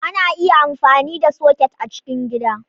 Ana iya amfani da soket a cikin gida.